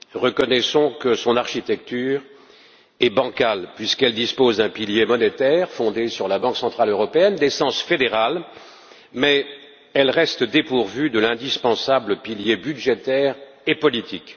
Reconnaissons que son architecture est bancale, puisqu'elle dispose d'un pilier monétaire fondé sur la Banque centrale européenne, d'essence fédérale, mais elle reste dépourvue de l'indispensable pilier budgétaire et politique.